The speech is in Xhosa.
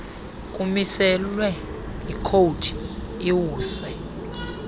kumiselwe yikhowudi iwuse